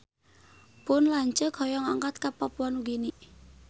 Pun lanceuk hoyong angkat ka Papua Nugini